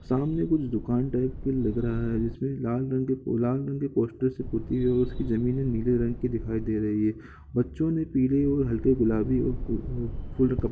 सामने कुछ दुकान टाइप के लग रहा है जिसमें लाल रंग के लाल रंग के पोस्टर से पुती है उसकी जमीने नीले रंग की दिखाई दे रही है बच्चों ने पीले और हल्के गुलाबी--